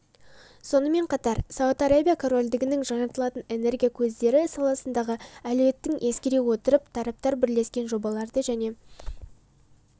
сонымен қатар сауд арабия корольдігінің жаңартылатын энергия көздері саласындағы әлеуетін ескере отырып тараптар бірлескен жобаларды және